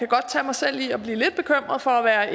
godt tage mig selv i at blive lidt bekymret for at